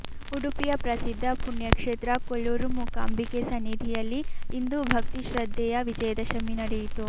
ಉಡುಪಿಯ ಪ್ರಸಿದ್ಧ ಪುಣ್ಯಕ್ಷೇತ್ರ ಕೊಲ್ಲೂರು ಮೂಕಾಂಬಿಕೆ ಸನ್ನಿಧಿಯಲ್ಲಿ ಇಂದು ಭಕ್ತಿ ಶ್ರದ್ಧೆಯ ವಿಜಯದಶಮಿ ನಡೆಯಿತು